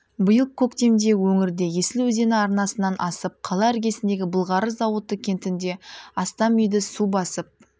биыл көктемде өңірде есіл өзені арнасынан асып қала іргесіндегі былғары зауыты кентінде астам үйді су басып